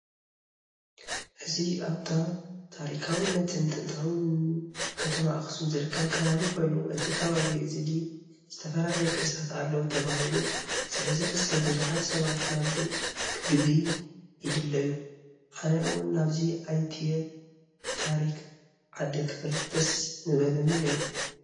እዚ ኣብታ ታሪካውንታን ጥንታዊትን ከተማ ኣኽሱም ዝርከብ ከባቢ ኮይኑ እዚ ከባቢ እዚ ድ ዝተፈላለዩ ቅርስታት አለወ ተባሂሉ ስለዝሕሰብ ብዙሓት ሰባት ናብዚ ክግብይ ይደልዩ። ኣነ እውን ናብዚ ኣይትየ ታሪክ ዓደይ ክፈልጥ ደስ ምበለኒ ነይሩ።